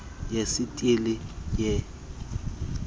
yesithili yeli sebe